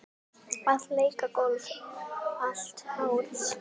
Að leika golf allt árið.